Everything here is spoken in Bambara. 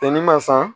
Tɛnɛ ma san